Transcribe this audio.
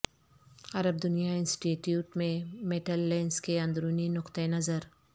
عرب دنیا institute میں metal lens کے اندرونی نقطہ نظر